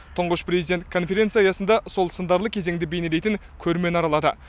тұңғыш президент конференция аясында сол сындарлы кезеңді бейнелейтін көрмені аралады